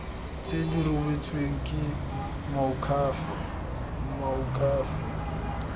tse di rebotsweng ke moakhaefe